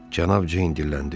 Cənab Ceyn dilləndi.